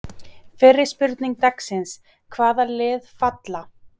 Fyrri spurning dagsins: Hvaða lið falla?